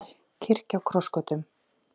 Kirkja á krossgötum